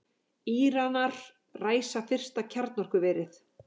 Íranar ræsa fyrsta kjarnorkuverið